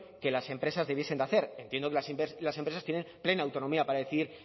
que las empresas debiesen de hacer entiendo que las empresas tienen plena autonomía para decidir